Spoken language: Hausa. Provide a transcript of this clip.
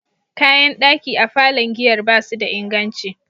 Kayan daki a falon giyar ba su da inganci.